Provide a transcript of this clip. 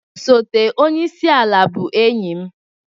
Osote onye isi ala bụ enyi m.